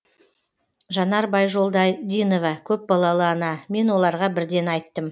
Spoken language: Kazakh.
жанар байжолдадинова көпбалалы ана мен оларға бірден айттым